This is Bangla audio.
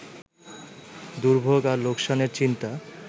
দুর্ভোগ আর লোকসানের চিন্তা